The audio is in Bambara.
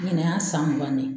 ƝInɛ y'a san mugan de ye